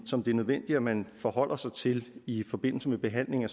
som det er nødvendigt at man forholder sig til i forbindelse med behandlingen af